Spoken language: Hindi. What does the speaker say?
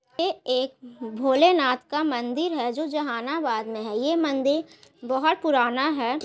ये एक भोलेनाथ का मंदिर है जो जहानाबाद में है ये मंदिर बहोत पुराना है ।